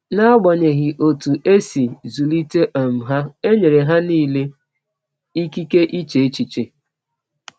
N’agbanyeghị ọtụ e si zụlite um ha, e nyere ha nile ịkịke iche echiche.